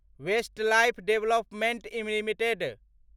Westlife development limited